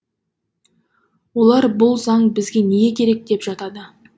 олар бұл заң бізге неге керек деп жатады